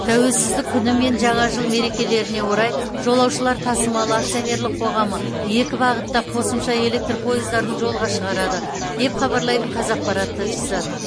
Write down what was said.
тәуелсіздік күні мен жаңа жыл мерекелеріне орай жолаушылар тасымалы акционерлік қоғамы екі бағытта қосымша электр пойыздарын жолға шығарады деп хабарлайды қазақпарат тілшісі